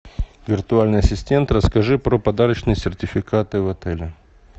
виртуальный ассистент расскажи про подарочные сертификаты в отеле